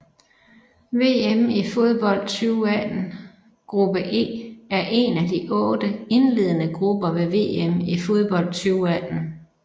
VM i fodbold 2018 gruppe E er en af otte indledende grupper ved VM i fodbold 2018